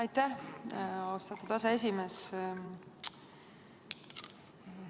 Aitäh, austatud aseesimees!